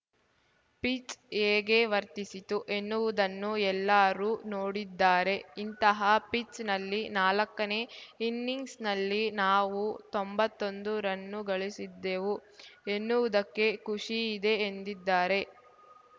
pitch ಹೇಗೆ ವರ್ತಿಸಿತು ಎನ್ನುವುದನ್ನು ಎಲ್ಲರೂ ನೋಡಿದ್ದಾರೆ ಇಂತಹ ಪಿಚ್‌ನಲ್ಲಿ ನಾಲಕ್ಕನೇ ಇನ್ನಿಂಗ್ಸ್‌ನಲ್ಲಿ ನಾವು ತೊಂಬತ್ತೊಂದು ರನ್ನು ಗಳಿಸಿದ್ದೆವು ಎನ್ನುವುದಕ್ಕೆ ಖುಷಿ ಇದೆ ಎಂದಿದ್ದಾರೆ